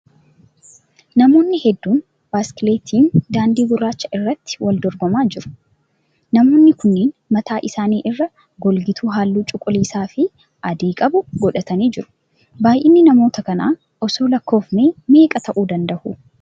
Namoonni hedduun biskileettiin daandii gurraacha irratti wal dorgamaa jiru. Namoonni kunniin mataa isaanii irraa golgituu halluu cuquliisaa fi adii qabu godhatanii jiru. baayyinni namoota kana osoo lakkoofne meeqa ta'uu danda'u?